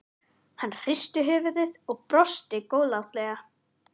Hann hristi höfuðið og brosti góðlátlega.